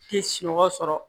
Tɛ sunɔgɔ sɔrɔ